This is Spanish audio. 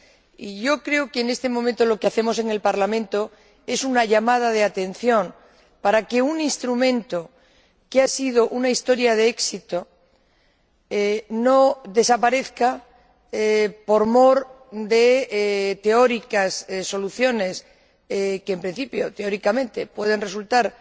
Y yo creo que, en este momento, lo que hacemos en el Parlamento es una llamada de atención para que un instrumento que ha tenido una historia de éxito no desaparezca por mor de teóricas soluciones que, en principio, teóricamente, pueden resultar